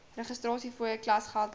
registrasiefooie klasgeld boeke